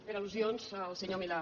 per al·lusions al senyor milà